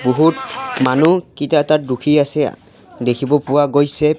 বহুত মানুহ কিটা তাত ৰখি আছে অ দেখিব পোৱা গৈছে।